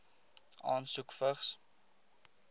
asook vigs